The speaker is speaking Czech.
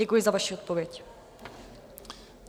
Děkuji za vaši odpověď.